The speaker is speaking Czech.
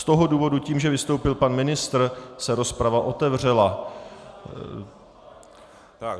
Z toho důvodu tím, že vystoupil pan ministr, se rozprava otevřela.